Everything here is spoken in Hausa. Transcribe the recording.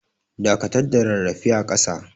Dakatar da rarrafe a kasa.